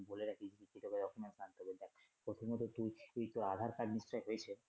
প্রথমত তুই, তুই তোর Aadhar card নিশ্চয়ই হয়েছে?